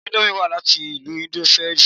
Íńdómì wá láti ìlú indonẹṣia